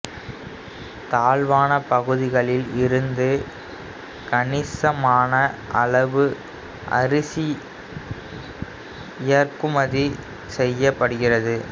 தாழ்வான பகுதிகளில் இருந்து கணிசமான அளவு அரிசி இறக்குமதி செய்யப்படுகிறது